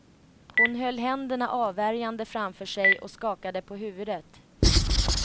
Hon höll händerna avvärjande framför sig och skakade på huvudet.